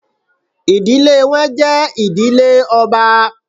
Idile wọn jẹ idile ọba